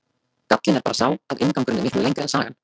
Gallinn er bara sá að inngangurinn er miklu lengri en sagan.